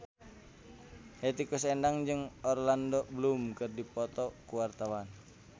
Hetty Koes Endang jeung Orlando Bloom keur dipoto ku wartawan